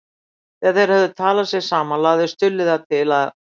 Þegar þeir höfðu talað sig saman lagði Stulli það til að